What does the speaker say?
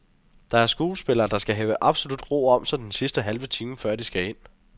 Der er skuespillere, der skal have absolut ro om sig den sidste halve time, før de skal ind.